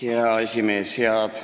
Hea esimees!